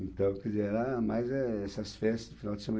Então, quer dizer, era mais, eh, essas festas de final de semana.